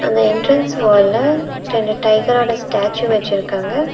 அந்த என்ட்ரன்ஸ் வால்ல ரெண்டு டைகரோட ஸ்டேச்யூ வச்சிருக்காங்க.